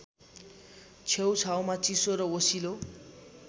छेउछाउमा चिसो र ओसिलो